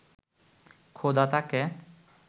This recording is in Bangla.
খোদা তাঁকে